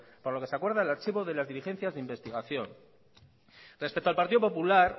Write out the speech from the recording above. por lo que se acuerda el archivo de las diligencias de investigación respecto al partido popular